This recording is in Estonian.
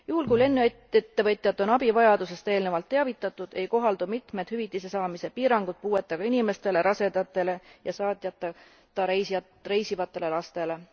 Juhul kui lennuettevõtjad on abivajadusest eelnevalt teavitatud, ei kohaldu mitmed hüvitisesaamise piirangud puuetega inimestele, rasedatele ja saatjata reisivatele lastele.